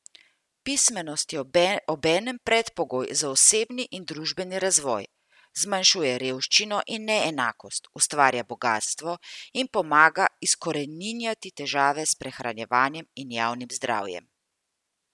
Pismenost je obenem predpogoj za osebni in družbeni razvoj, zmanjšuje revščino in neenakost, ustvarja bogastvo in pomaga izkoreninjati težave s prehranjevanjem in javnim zdravjem.